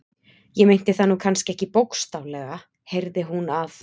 Ég meinti það nú kannski ekki bókstaflega, heyrði hún að